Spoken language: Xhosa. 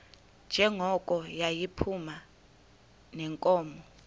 njengoko yayiphuma neenkomo